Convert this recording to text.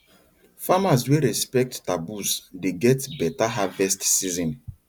farmers wey respect taboos dey get better harvest season